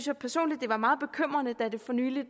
jeg personligt det var meget bekymrende da der for nylig